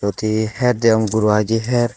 iyot he her degong guru hiy d her.